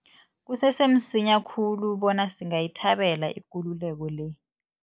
Kusese msinya khulu bona singayithabela ikululeko le.